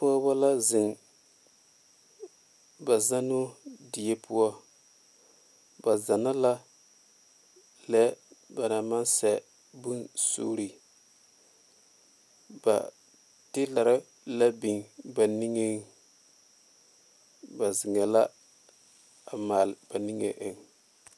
Pɔgeba la zeŋ ba zennoo die poɔ ba zenna la lɛ ba naŋ maŋ sɛ bone sure ba telara la biŋ ba niŋe soŋe ba zeŋe la a male ba niŋe eŋ.